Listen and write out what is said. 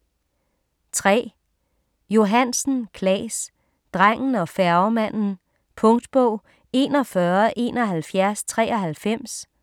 3. Johansen, Claes: Drengen og færgemanden Punktbog 417193